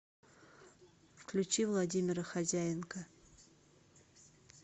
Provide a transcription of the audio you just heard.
включи владимира хозяенко